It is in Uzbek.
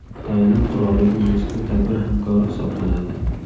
Tailand qirolligi mazkur tadbir hamkori hisoblanadi.